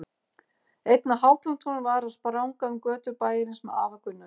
Einn af hápunktunum var að spranga um götur bæjarins með afa Gunnari.